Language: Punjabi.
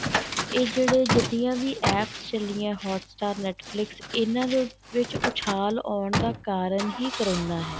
ਇਹ ਜਿਹੜੇ ਜਿੰਨੀਆਂ ਵੀ APPS ਚੱਲੀਆਂ hot star Netflix ਇਹਨਾ ਵਿੱਚ ਉੱਛਾਣ ਆਉਣ ਦਾ ਕਾਰਨ ਹੀ ਕਰੋਨਾ ਹੈ